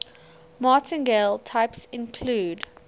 martingale types include